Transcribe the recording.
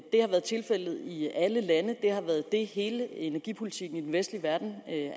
har været tilfældet i alle lande har været det hele energipolitikken i den vestlige verden